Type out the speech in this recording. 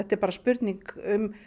er bara spurning um